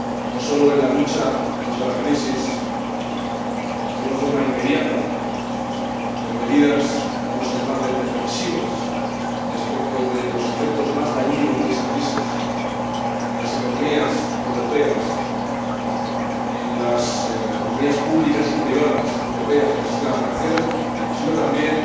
no sólo en la lucha contra la crisis de una forma inmediata, con medidas, digamos, defensivas respecto de los efectos más dañinos de esa crisis en las economías europeas, en las economías públicas y privadas europeas, en el sistema financiero, sino también